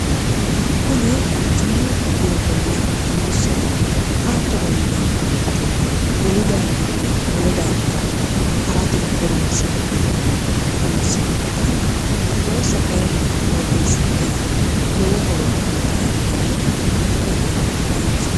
kuni quchumu doogonna buussate hatto noyi neemmo weyite wolu darginni wole darga ha'rate horonsi neemmo buussa ikkitaanna tebuussa kayinni qooxeessingera lowo horo uyitaano daafira cawagiya danchaho